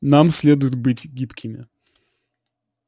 нам следует быть гибкими